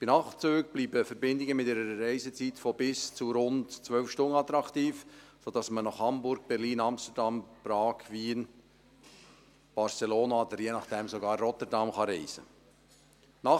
Bei Nachtzügen bleiben Verbindungen mit einer Reisezeit von bis zu rund 12 Stunden attraktiv, sodass man nach Hamburg, Berlin, Amsterdam, Prag, Wien, Barcelona oder, je nachdem, sogar nach Rotterdam reisen kann.